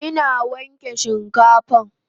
Ina wanke shinkafan